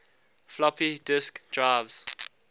floppy disk drives